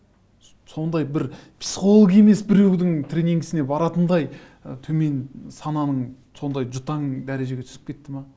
сондай бір психолог емес біреудің тренингісіне баратындай ы төмен сананың сондай жұтаң дәрежеге түсіп кетті ме